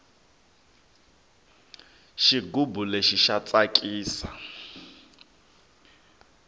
xigubu lexi xa tsakisa